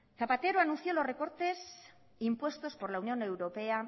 zapatero anunció los recortes impuestos por la unión europea